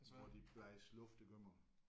Hvor de blæser luft igennem